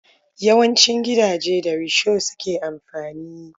Yawancin gidaje da risho suke amfani.